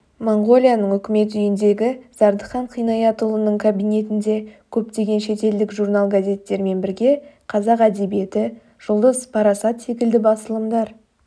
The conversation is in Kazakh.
моңғолияның үкімет үйіндегі зардыхан қинаятұлының кабинетінде көптеген шетелдік журнал-газеттермен бірге қазақ әдебиеті жұлдыз парасат секілді басылымдар